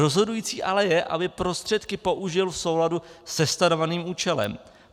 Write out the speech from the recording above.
Rozhodující ale je, aby prostředky použil v souladu se stanoveným účelem.